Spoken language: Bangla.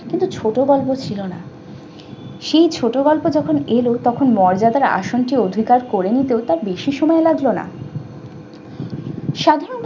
কিন্তু ছোট গল্প ছিল না। সেই ছোট গল্প যখন এলো তখন মর্যাদার আসনকে অধিকার করে নিতেও তার বেশি সময় লাগলো না। সাধারণত